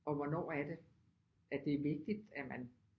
Og hvornår er det at det er vigtigt at man